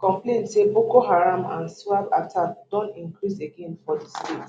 complain say boko haram and iswap attacks don increase again for di state